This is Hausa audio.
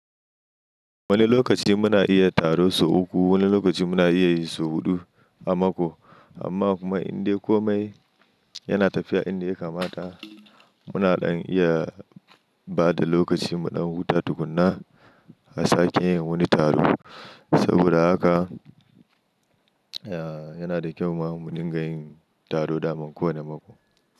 Wani lokaci muna iya taro sau uku, wani lokaci muna iya yi sau huɗu a mako. Amma kuma indai komai yana tafiya inda ya kamata. Muna ɗan iya bada lokaci mu ɗan huta tukuna a sake yin wani taro. Saboda haka, ya yana da kyau ma mu dinga yin taro daman kowane mako.